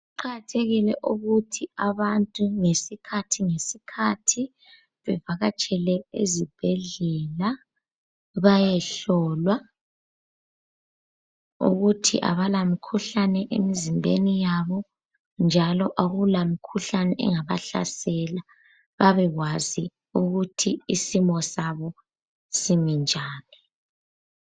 Kuqakathekile ukuthi abantu ngesikhathi ngesikhathi bevakatshele ezibhedlela bayehlolwa ukuthi abala mkhuhlane emzimbeni yabo njalo akula mikhuhlane engabahlasela babekwazi ukuthi isimo sabo simi njani.